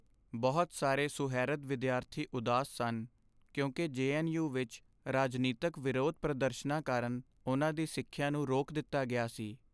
ਬਹੁਤ ਸਾਰੇ ਸੁਹਿਰਦ ਵਿਦਿਆਰਥੀ ਉਦਾਸ ਸਨ ਕਿਉਂਕਿ ਜੇ.ਐੱਨ.ਯੂ. ਵਿੱਚ ਰਾਜਨੀਤਕ ਵਿਰੋਧ ਪ੍ਰਦਰਸ਼ਨਾਂ ਕਾਰਨ ਉਨ੍ਹਾਂ ਦੀ ਸਿੱਖਿਆ ਨੂੰ ਰੋਕ ਦਿੱਤਾ ਗਿਆ ਸੀ।